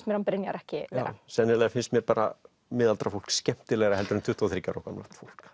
mér hann Brynjar ekki vera sennilega finnst mér bara miðaldra fólk skemmtilegra heldur en tuttugu og þriggja ára gamalt fólk